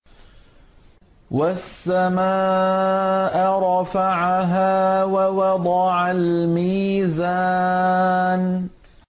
وَالسَّمَاءَ رَفَعَهَا وَوَضَعَ الْمِيزَانَ